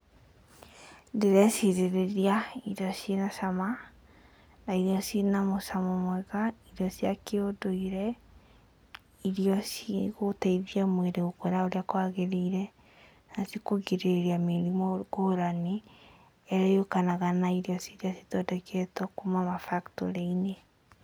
Ndĩrecirĩrĩria irio ciĩ na cama na iria ciĩ na mũcamo mwega, irio cia kĩũndũire, irio cigũteithia mwĩrĩ gũkũra ũrĩa kwagĩrĩire, na cikũgirĩrĩria mĩrimũ ngũrani ĩrĩa yũkanaga na irio iria ithondeketwo kuma factory -inĩ.